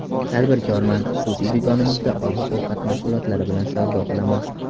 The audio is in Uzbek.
Tadbirkorman, xususiy do‘konimda oziq-ovqat mahsulotlari bilan savdo qilaman.